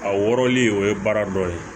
A wɔrɔli o ye baara dɔ ye